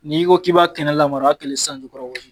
N'i ko k'i b'a kɛnɛ lamara y'a kɛlen sanjukɔrɔwɔsi